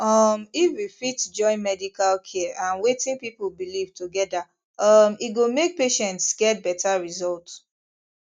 um if we fit join medical care and wetin people believe together um e go make patients get better result